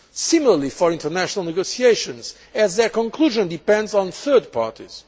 The same applies for international negotiations, as their conclusion depends on third parties.